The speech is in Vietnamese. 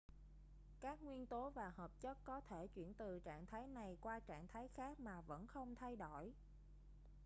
các nguyên tố và hợp chất có thể chuyển từ trạng thái này qua trạng thái khác mà vẫn không thay đổi